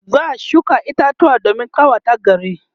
za'a shuka itatuwa domin ƙawata gari